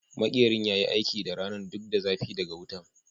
Makerin ya yi aiki duk ranan duk da zafi daga wutan.